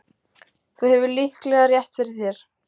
Þú hefur líklega rétt fyrir þér